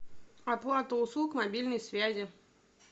оплата услуг мобильной связи